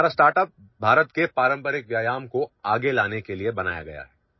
Our startup has been created to bring forward the traditional exercises of India